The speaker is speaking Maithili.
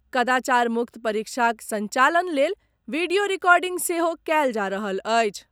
कदाचार मुक्त परीक्षाक संचालन लेल वीडियो रिकॉर्डिंग सेहो कयल जा रहल अछि।